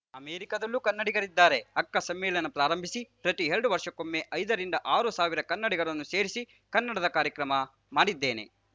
ಅಮೆರಿಕದಲ್ಲೂ ಕನ್ನಡಿಗರಿದ್ದಾರೆ ಅಕ್ಕ ಸಮ್ಮೇಳನ ಪ್ರಾರಂಭಿಸಿ ಪ್ರತಿ ಎರಡು ವರ್ಷಕ್ಕೊಮ್ಮೆ ಐದರಿಂದ ಆರು ಸಾವಿರ ಕನ್ನಡಿಗರನ್ನು ಸೇರಿಸಿ ಕನ್ನಡದ ಕಾರ್ಯಕ್ರಮ ಮಾಡಿದ್ದೇನೆ